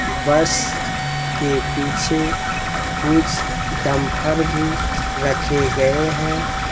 बस के पीछे कुछ डंपर भी रखे गए है।